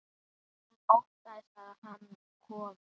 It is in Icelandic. Hún óttast að hann komi.